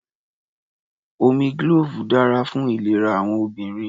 Omi glove dára fún ìlera àwọn obìnrin.